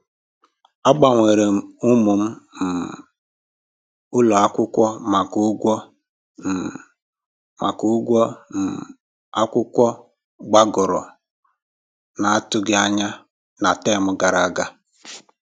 A gbanweerem ụmụ m um ụlọ akwụkwọ maka ụgwọ um maka ụgwọ um akwụkwọ gbagoro na atụghị anya na tem gara aga